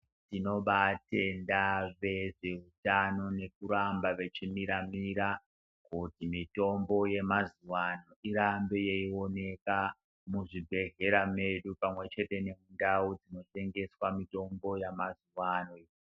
Tinobaatenda vezveutano nekuramba vechimira-mira, kuti mitombo yemazuwaano irambe yeioneka, muzvibhedhlera medu pamwe chete nemundau dzinotengesa mitombo yamazuwa ano.